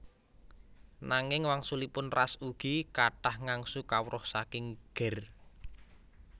Nanging wangsulipun Ras ugi kathah ngangsu kawruh saking Ger